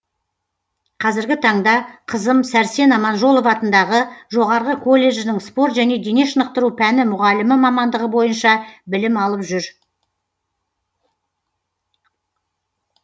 қазіргі таңда қызым сәрсен аманжолов атындағы жоғарғы колледжінің спорт және дене шынықтыру пәні мұғалімі мамандығы бойынша білім алып жүр